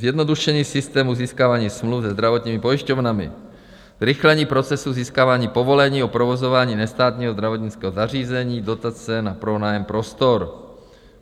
Zjednodušení systému získávání smluv se zdravotními pojišťovnami, zrychlení procesu získávání povolení o provozování nestátního zdravotnického zařízení, dotace na pronájem prostor.